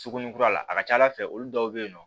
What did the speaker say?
Suguninkura la a ka ca ala fɛ olu dɔw bɛ ye nɔ